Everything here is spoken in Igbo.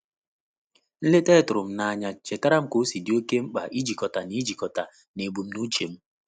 Nleta ya tụrụ m n'anya chetaara m ka-osi di oke mkpa ijikọta na ijikọta na ebumnuche m.